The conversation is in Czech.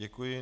Děkuji.